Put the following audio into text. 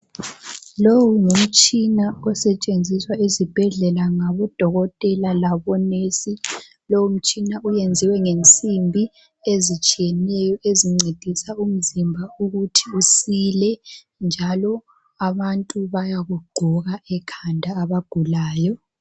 Lowu ngumtshina osetshenziswa ezibhedlela ngabodokotela labonesi. Lowu mtshina uyenziwe ngensimbi ezitshiyeneyo ezincedisa umzimba ukuthi usile, njalo, abantu bayakugqoka ekhanda abagulayo.